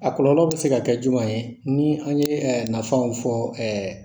A kɔlɔlɔ bɛ se ka kɛ jumɛn ye ni an ye nafaw fɔ ɛɛ